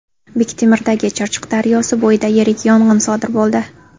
Bektemirdagi Chirchiq daryosi bo‘yida yirik yong‘in sodir bo‘ldi .